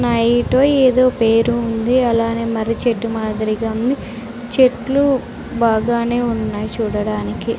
నైటో ఏదో పేరు ఉంది అలానే మర్రిచెట్టు మాదిరిగా ఉంది చెట్లు బాగానే ఉన్నాయ్ చూడడానికి --